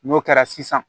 N'o kɛra sisan